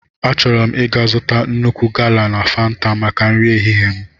Achọrọ m ịga zụta nnukwu gala na fanta maka nri ehihie m.